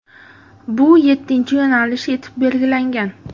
Bu yettinchi yo‘nalish etib belgilangan.